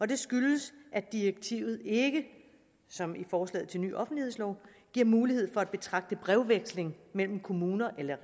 det skyldes at direktivet ikke som i forslaget til ny offentlighedslov giver mulighed for at betragte brevveksling mellem kommuner eller